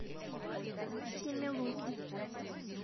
семилуки